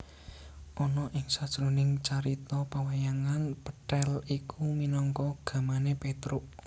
Ana ing sajroning carita pawayangan pethèl iku minangka gamané Pétruk